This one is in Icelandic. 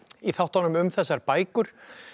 í þáttunum um þessar bækur